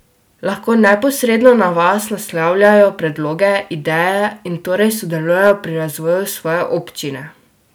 Lahko neposredno na vas naslavljajo predloge, ideje in torej sodelujejo pri razvoju svoje občine?